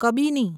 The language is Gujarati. કબીની